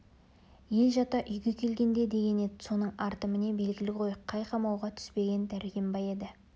ел жата үйге келгенде деген еді соның арты міне белгілі ғой қай қамауға түспеген дәркембай еді